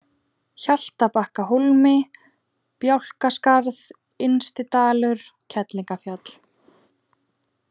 Hjaltabakkahólmi, Bálkaskarð, Innstidalur, Kerlingarfjall